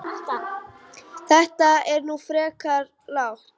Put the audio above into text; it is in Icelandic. Þetta er nú frekar lágt